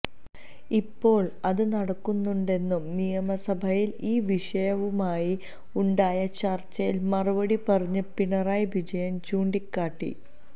ഇപ്പോള് അതു നടക്കുന്നുണ്ടെന്നും നിയമസഭയില് ഈ വിഷയവുമായി ഉണ്ടായ ചര്ച്ചയില് മറുപടി പറഞ്ഞ് പിണറായി വിജയന് ചൂണ്ടിക്കാട്ടി